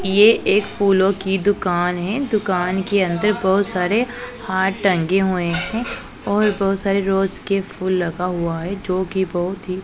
ये एक फूलों की दुकान है दुकान के अंदर बहुत सारे हार टंगे हुए हैं और बहुत सारे रोज के फूल लगा हुआ है जो कि बहुत ही--